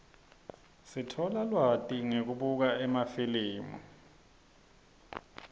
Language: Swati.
sitfola lwati ngekubuka emafilimi